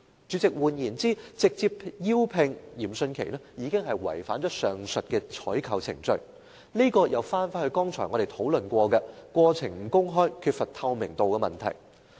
主席，換言之，直接委聘嚴迅奇已經違反上述的採購程序，這涉及我們剛才提到的過程不公開、缺乏透明度的問題。